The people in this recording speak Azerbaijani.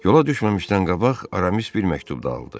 Yola düşməmişdən qabaq Aramis bir məktub da aldı.